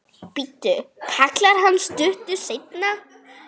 Bíddu, kallar hann stuttu seinna.